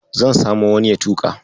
Zan samo wani ya tuƙa.